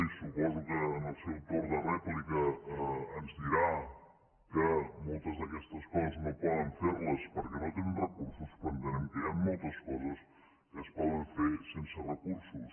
i suposo que en el seu torn de rèplica ens dirà que moltes d’aquestes coses no poden fer les perquè no tenen recursos però entenem que hi han moltes coses que es poden fer sense recursos